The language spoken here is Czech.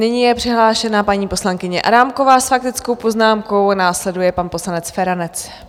Nyní je přihlášena paní poslankyně Adámková s faktickou poznámkou, následuje pan poslanec Feranec.